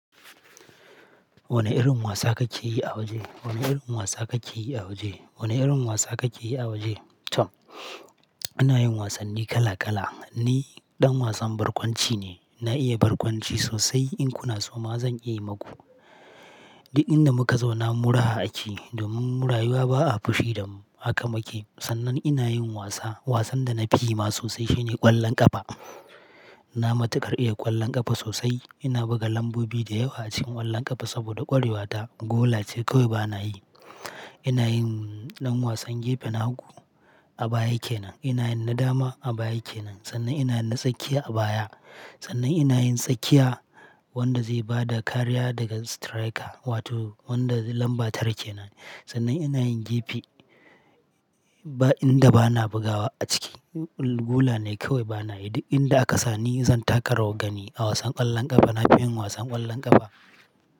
Wane irin wasa kake yi a waje? Wane irin wasa kake yi a waje? Wane irin wasa kake yi a waje? Tom, ana yin wasanni kala kala. Ni ɗan wasan barkwanci ne. Na iya barkwanci sosai. In kuna so ma zan iya yi maku. Duk inda muka zau na muraha akeyi. Domin mun rayuwa ba a fushi da mu, Haka muke. Sannan ina yin wasa. Wasan da na fi yi ma sosai shine ƙwallon ƙafa. Na matuƙar iya ƙwallon ƙafa sosai. Ina buga lambobi da yawa a cikin ƙwallon ƙafa saboda ƙwarewata. Gola ce kawai bana yi. Ina yin ɗan wasan gefe na hagu. A baya yake nan. Ina yin na dama a baya yake nan. Sannan ina na tsakiya a baya. Sannan ina yin tsakiya wanda zai ba da kariya daga striker wato wanda lamba tara kenan ne. Sannan ina yin gefe. Ba inda bana bugawa a ciki. Gola ne kawai bana yi. Duk inda aka sa ni zan taka rawar gani a wasan ƙwallon ƙafa. Na fi yin wasan ƙwallon ƙafa.